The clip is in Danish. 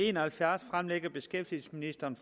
en og halvfjerds fremsætter beskæftigelsesministeren